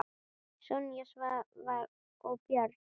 Sonja, Svavar og börn.